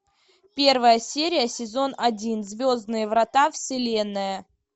первая серия сезон один звездные врата вселенная